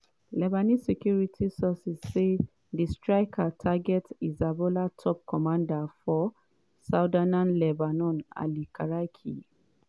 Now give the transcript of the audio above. lebanese security sources say di strike target hezbollah top commander for southern lebanon ali karaki e